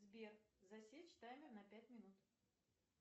сбер засечь таймер на пять минут